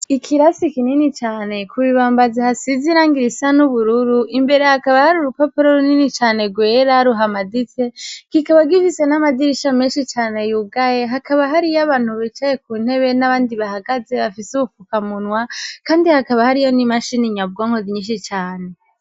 Ikirasi kinini cane ku bibambazi hasizirangiraisa n'ubururu imbere hakaba hari urupapuro runini cane rwera ruhamadize gikaba gifise n'amadirisha menshi cane y'ugaye hakaba hariyo abantu bicaye ku ntebe n'abandi bahagaze bafise ubupfuka munwa, kandi hakaba hariyo n'imashini nyabwankozi nyinshi cane.